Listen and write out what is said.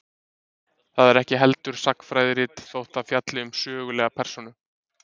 Það er ekki heldur sagnfræðirit, þótt það fjalli um sögulega persónu.